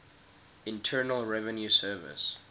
internal revenue service